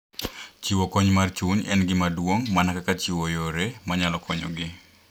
Chiwo kony mar chuny en gima duong’ mana kaka chiwo yore manyalo konyogi.